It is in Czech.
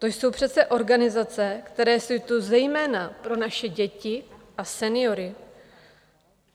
To jsou přece organizace, které jsou tu zejména pro naše děti a seniory.